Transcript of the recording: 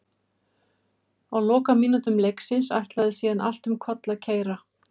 Á lokamínútum leiksins ætlaði síðan allt um koll að keyra.